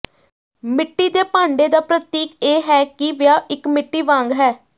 ਮਿੱਟੀ ਦੇ ਭਾਂਡੇ ਦਾ ਪ੍ਰਤੀਕ ਇਹ ਹੈ ਕਿ ਵਿਆਹ ਇਕ ਮਿੱਟੀ ਵਾਂਗ ਹੈ